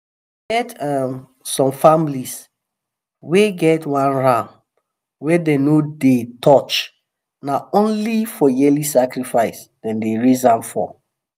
e get um some families wey get one ram wey dem no dey touch na only for yearly sacrifice them dey raise am for.